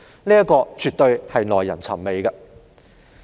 這絕對是耐人尋味的。